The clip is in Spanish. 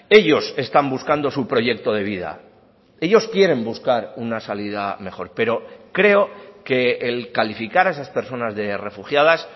ellos están buscando su proyecto de vida ellos quieren buscar una salida mejor pero creo que el calificar a esas personas de refugiadas